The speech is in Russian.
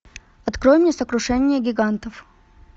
открой мне сокрушение гигантов